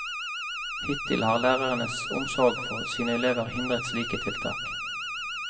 Hittil har lærernes omsorg for sine elever hindret slike tiltak.